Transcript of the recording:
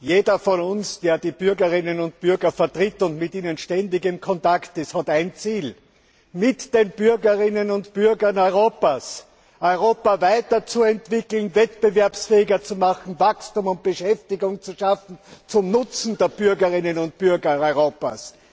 Jeder von uns, der die Bürgerinnen und Bürger vertritt und mit ihnen ständig in Kontakt ist, hat ein Ziel mit den Bürgerinnen und Bürgern Europas Europa weiterzuentwickeln, wettbewerbsfähiger zu machen, Wachstum und Beschäftigung zu schaffen, zum Nutzen der Bürgerinnen und Bürger Europas.